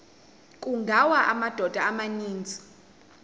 kungawa amadoda amaninzi